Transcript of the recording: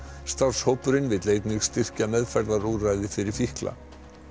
starfshópurinn vill einnig styrkja meðferðarúrræði fyrir fíkla